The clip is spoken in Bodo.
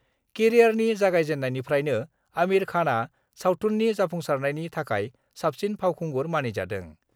केरियारनि गायजेननायनिफ्रायनो आमिर खानआ सावथुननि जाफुंसारनायनि थाखाय साबसिन फावखुंगुर मानिजादों।